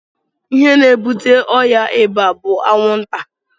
Ihe na ebute ọya ịba bu anwụ nta.